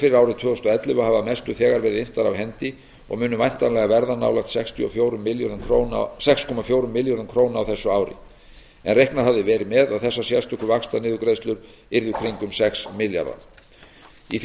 fyrir árið tvö þúsund og ellefu hafa að mestu þegar verið inntar af hendi og munu væntanlega verða nálægt sex komma fjórum milljörðum króna á þessu ári en reiknað hafði verið með að þessar sérstöku vaxtaniðurgreiðslur yrðu kringum sex milljarðar í því